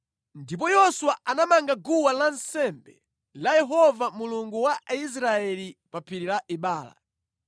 Ndipo Yoswa anamanga guwa lansembe la Yehova Mulungu wa Israeli pa phiri la Ebala.